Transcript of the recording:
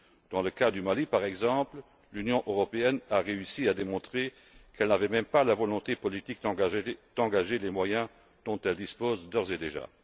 Dans le cas du Mali, par exemple, l'Union européenne a réussi à démontrer qu'elle n'avait même pas la volonté politique d'engager les moyens dont elle dispose d'ores et déjà.